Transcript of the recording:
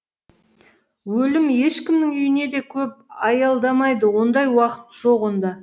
өлім ешкімнің үйіне де көп аялдамайды ондай уақыт жоқ онда